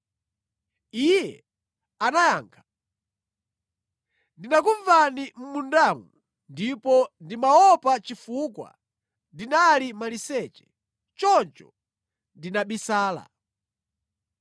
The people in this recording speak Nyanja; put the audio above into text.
Iye anayankha, “Ndinakumvani mʼmundamo, ndipo ndimaopa chifukwa ndinali maliseche; choncho ndinabisala.”